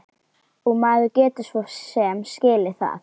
Og maður getur svo sem skilið það.